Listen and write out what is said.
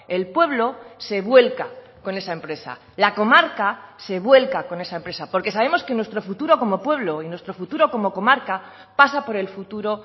el pueblo se vuelca con esa empresa la comarca se vuelca con esa empresa porque sabemos que nuestro futuro como pueblo y nuestro futuro como comarca pasa por el futuro